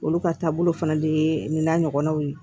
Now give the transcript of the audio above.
Olu ka taabolo fana de ye nin n'a ɲɔgɔnnaw ye